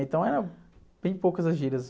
Então eram bem poucas as gírias.